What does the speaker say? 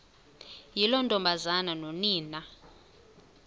yiloo ntombazana nonina